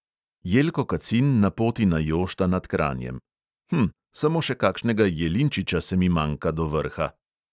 Jelko kacin na poti na jošta nad kranjem: "hm, samo še kakšnega jelinčiča se mi manjka do vrha!"